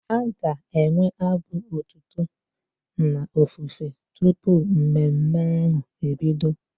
A ga-enwe abụ otuto na ofufe tụpụ mmemme ahu ebido